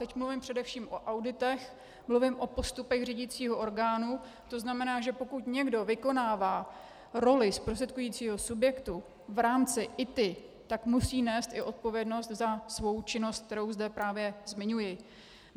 Teď mluvím především o auditech, mluvím o postupech řídicího orgánu, to znamená, že pokud někdo vykonává roli zprostředkujícího subjektu v rámci ITI, tak musí nést i odpovědnost za svou činnost, kterou zde právě zmiňuji.